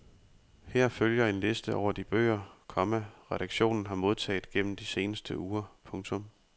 Her følger en liste over de bøger, komma redaktionen har modtaget gennem de seneste uger. punktum